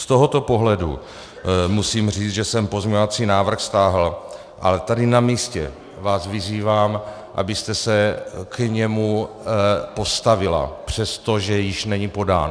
Z tohoto pohledu musím říct, že jsem pozměňovací návrh stáhl, a tady na místě vás vyzývám, abyste se k němu postavila, přestože již není podán.